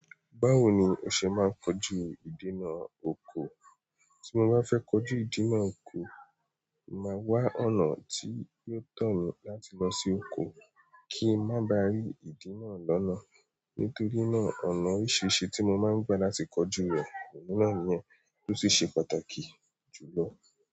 Báwo ni o ṣe máa ń kojú ìdènà oko? Tí mo bá fẹ́ kojú ìdí náà oko, màá wá ọ̀nà tí yóò tọ̀ mí láti lọ sí oko kí má ba rí ìdí náà lọ́nà. Nítorí náà, ọ̀nà oríṣiríṣi tí mo máa ń gbà láti kojú rẹ̀, èyí náà níyẹn, tó sì ṣe pàtàkì jù lọ.